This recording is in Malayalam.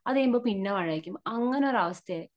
അത് കഴിയുമ്പോ പിന്നെ മഴയായിരിക്കും അങ്ങനെ ഒരവസ്ഥയായി .